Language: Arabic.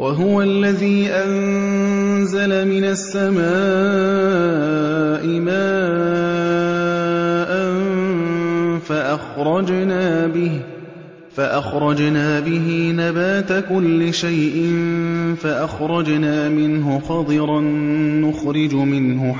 وَهُوَ الَّذِي أَنزَلَ مِنَ السَّمَاءِ مَاءً فَأَخْرَجْنَا بِهِ نَبَاتَ كُلِّ شَيْءٍ فَأَخْرَجْنَا مِنْهُ خَضِرًا نُّخْرِجُ مِنْهُ